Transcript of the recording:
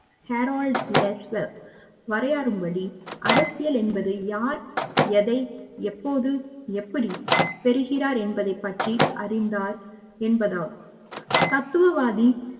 Herald Lasswell வரையாறும்படி அரசியல் என்பது யார் எதை எப்போது எப்படி பெறுகிறார் என்பதைப் பற்றி அறிந்தால் என்பதாகும் தத்துவவாதி